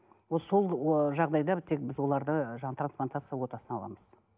сол ыыы жағдайда тек біз оларды жаңа трансплантация ортасына аламыз